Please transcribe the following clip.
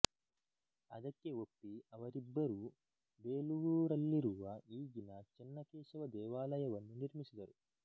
ಅದಕ್ಕೆ ಒಪ್ಪಿ ಅವರಿಬ್ಬರೂ ಬೇಲೂರಲ್ಲಿರುವ ಈಗಿನ ಚೆನ್ನಕೇಶವ ದೇವಾಲಯವನ್ನು ನಿರ್ಮಿಸಿದರು